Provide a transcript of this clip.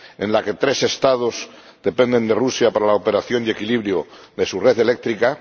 en la que tres Estados dependen de Rusia para la operación y equilibrio de su red eléctrica